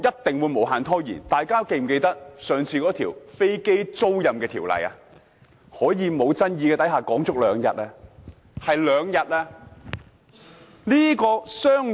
大家是否記得上次有關飛機租賃的法案，在無爭議的情況下討論了兩天？